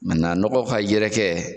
nɔgɔ ka yɛrɛkɛ.